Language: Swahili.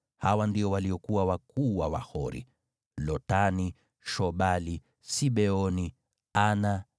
Hawa ndio waliokuwa wakuu wa Wahori: Lotani, Shobali, Sibeoni, Ana,